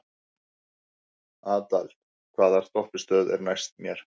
Adel, hvaða stoppistöð er næst mér?